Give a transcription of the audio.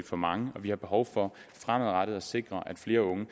for mange og vi har behov for fremadrettet at sikre at flere unge